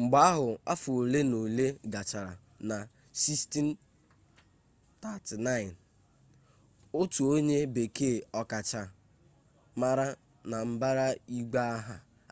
mgbe ahụ afọ ole na ole gachara na 1639 otu onye bekee ọkachamara na mbara igwe